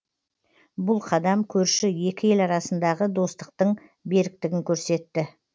бұл қадам көрші екі ел арасындағы достықтың беріктігін көрсетті